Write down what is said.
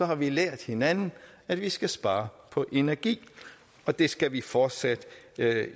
har vi lært hinanden at vi skal spare på energien og det skal vi fortsat